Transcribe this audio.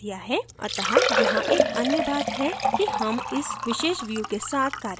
अत: यहाँ एक अन्य बात है कि हम इस विशेष view के साथ कार्य करने जा रहे हैं